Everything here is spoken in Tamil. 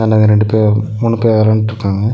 இந்தாண்ட ரெண்டு பேவ் மூணு பே வெளயாண்ட்ருக்காங்க.